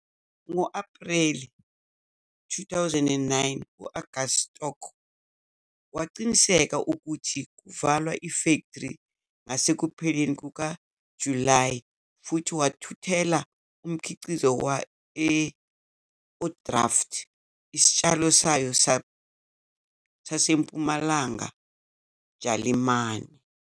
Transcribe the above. Ngo-Ephreli 2009 u- August Storck wakuqinisekisa ukuthi kuvalwa ifektri ngasekupheleni kukaJulayi futhi wathuthela umkhiqizo e-Ohrdruf, isitshalo sayo saseMpumalanga Jalimane.